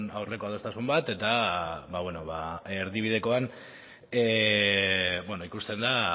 aurreko adostasun bat eta erdibidekoan ikusten da